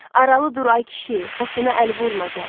Aralı dur ay kişi, saçına əl vurma gəl.